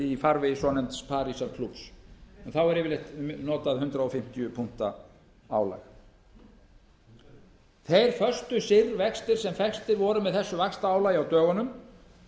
í farvegi svonefnds parísarklúbbs en þá er yfirleitt notað hundrað fimmtíu punkta álag þeir föstu vextir sem festirvoru á þessu vaxtaálagi á dögunum